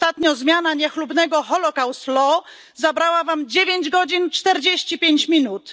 Ostatnio zmiana niechlubnego zabrała wam 9 godzin 45 minut.